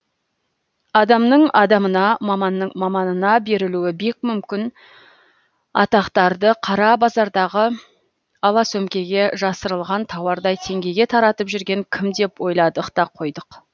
адамның адамына маманның маманына берілуі бек мүмкін атақтарды қара базардағы ала сөмкеге жасырылған тауардай теңгеге таратып жүрген кім деп ойладық та қойдық